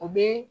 O be